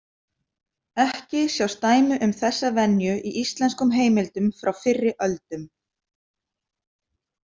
Ekki sjást dæmi um þessa venju í íslenskum heimildum frá fyrri öldum.